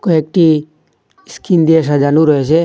কয়েকটি ইস্কিন দিয়া সাজানো রয়েসে ।